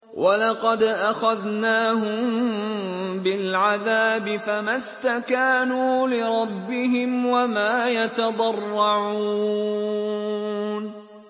وَلَقَدْ أَخَذْنَاهُم بِالْعَذَابِ فَمَا اسْتَكَانُوا لِرَبِّهِمْ وَمَا يَتَضَرَّعُونَ